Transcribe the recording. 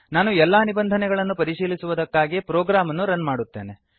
ನಾನು ಎಲ್ಲಾ ನಿಬಂಧನೆಗಳನ್ನು ಪರಿಶೀಲಿಸುವುದಕ್ಕಾಗಿ ಪ್ರೋಗ್ರಾಮ್ ಅನ್ನು ರನ್ ಮಾಡುತ್ತೇನೆ